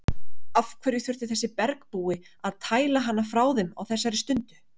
Af hverju þurfti þessi bergbúi að tæla hana frá þeim á þessari stundu?